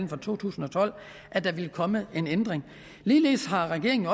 for to tusind og tolv at der ville komme en ændring ligeledes har regeringen